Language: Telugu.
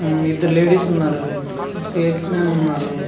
ఉమ్ ఇద్దరు లేడీస్ ఉన్నారు సేల్స్ మ్యాన్ ఉన్నారు.